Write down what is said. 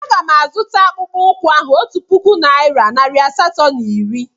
A ga m azụta akpụkpọ ụkwụ ahụ otu puku naịra nari asatọ na iri.